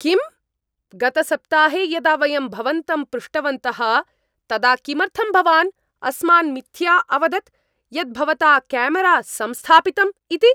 किम्? गतसप्ताहे यदा वयं भवन्तं पृष्टवन्तः तदा किमर्थं भवान् अस्मान् मिथ्या अवदत् यत् भवता केमरा संस्थापितम् इति?